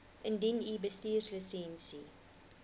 indien u bestuurslisensie